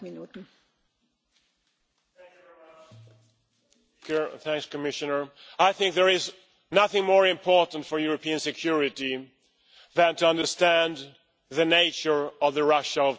Madam President, I think there is nothing more important for European security than to understand the nature of the Russia of today.